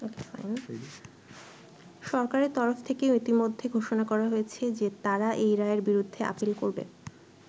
সরকারের তরফ থেকেও ইতোমধ্যে ঘোষণা করা হয়েছে যে তারা এই রায়ের বিরুদ্ধে আপীল করবে।